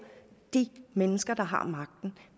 de mennesker der har magten